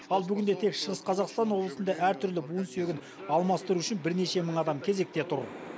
ал бүгінде тек шығыс қазақстан облысында әртүрлі буын сүйегін алмастыру үшін бірнеше мың адам кезекте тұр